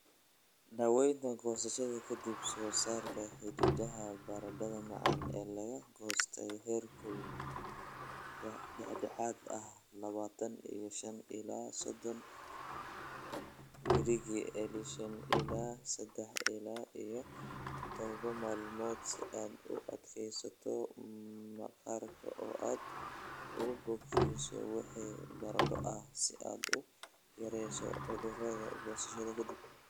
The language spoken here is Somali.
daawaynta goosashada ka dib Soo saar xididada baradhada macaan ee la goostay heerkul dhexdhexaad ah labatan iyo shan ila sodon digirii celshiyas ilaa sadah ila iyo tadhawa maalmood si aad u adkeyso maqaarka oo aad u bogsiiso wixii nabarro ah si aad u yareyso cudurrada goosashada ka dib.